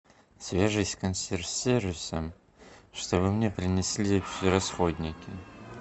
свяжись с консьерж сервисом чтобы мне принесли все расходники